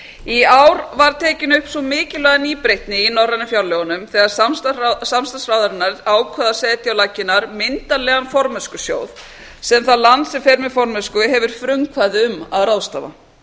í ár var tekin upp sú mikilvæga nýbreytni í norrænu fjárlögunum þegar samstarfsráðherrarnir ákváðu áð setja á laggirnar myndarlegan formennskusjóð sem það land sem fer með formennsku hefur frumkvæði um að ráðstafa